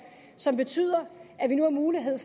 som betyder at vi nu har mulighed